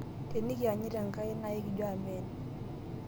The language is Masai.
tenekianyit Enkai naa ekijo amen